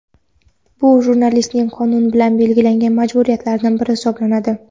Bu jurnalistning qonun bilan belgilangan majburiyatlaridan biri hisoblanadi.